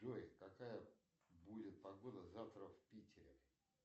джой какая будет погода завтра в питере